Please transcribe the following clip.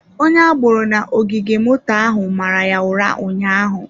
Onye agboro na ogige moto ahụ mara ya ụra ụnyaahụ.